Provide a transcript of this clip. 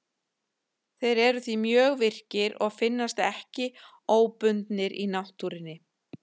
Þeir eru því mjög virkir og finnast ekki óbundnir í náttúrunni.